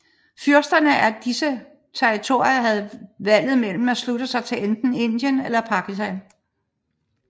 Fyrsterne af disse territorier havde valget mellem at slutte sig til enten Indien eller Pakistan